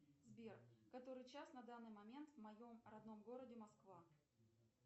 сбер который час на данный момент в моем родном городе москва